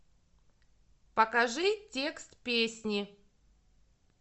покажи текст песни